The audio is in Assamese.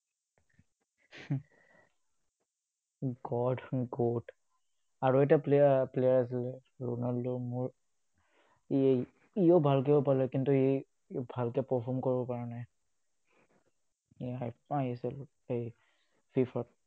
god goat আৰু এটা player আছিল ronaldo মোৰ ইয়েই ইয়ো ভাল খেলিব পাৰে। কিন্তু, ই ভালকে perform কৰিব পাৰা নাই। এই FIFA ত